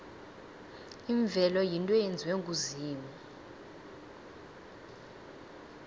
imvelo yinto eyenziwe nguzimu